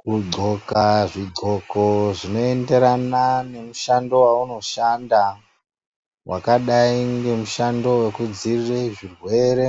Kugonxa zvigonxo zvinoenderana nemushando waunoshanda wakadai nemushando wekudzivirira zvirwere